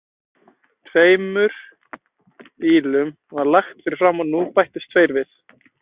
Tveimur bílum var lagt fyrir framan og nú bættust tveir við.